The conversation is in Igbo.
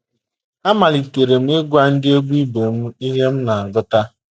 Amalitere m ịgwa ndị egwú ibe m ihe m na - agụta.